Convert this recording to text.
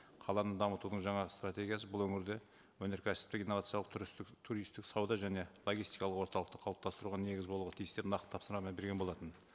қаланы дамытудың жаңа стратегиясы бұл өңірде өнеркәсіптік инновациялық туристтік сауда және логистикалық орталықты қалыптастыруға негіз болуға тиісті нақты тапсырмамен берген болатын